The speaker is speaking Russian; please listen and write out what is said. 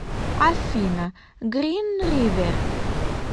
афина грин ривер